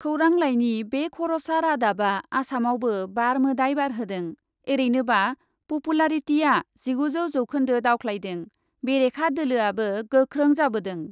खौरां लाइनि बे खर'सा रादाबा आसामावबो बार मोदाइ बारहोदों, एरैनोबा पपुलारिटिया जिगु जौखोन्दो दावख्लायदों , बेरेखा दोलोआबो गोख्रों जाबोदों।